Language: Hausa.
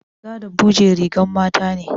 Riga da buje rigan mata ne